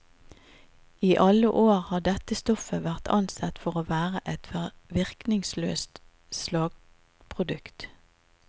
I alle år har dette stoffet vært ansett for å være et virkningsløst slaggprodukt.